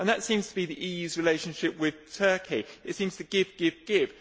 That seems to be the EU's relationship with Turkey. It seems to give, give, give.